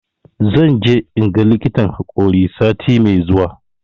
Zan je in ga likitan haƙori sati mai zuwa.